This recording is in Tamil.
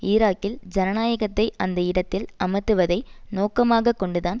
ஈராக்கில் ஜனநாயகத்தை அந்த இடத்தில் அமர்த்துவதை நோக்கமாக கொண்டு தான்